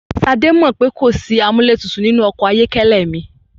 Ṣadé mọ̀ pó kò sí amúlẹ́tutù nínú ọkọ̀ ayọ́kẹ́lẹ́ mi.